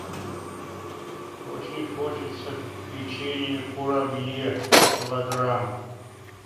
очень хочется печенье курабье килограмм